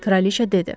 Kraliça dedi.